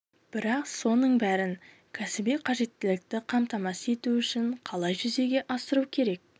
бірақ соның бәрін кәсіби қажеттілікті қамтамасыз ету үшін қалай жүзеге асыру керек